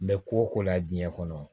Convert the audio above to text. Mɛ ko o ko la diɲɛ kɔnɔ